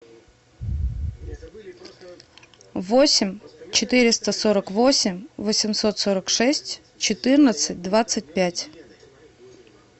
восемь четыреста сорок восемь восемьсот сорок шесть четырнадцать двадцать пять